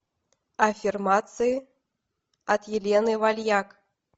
аффирмации от елены вальяк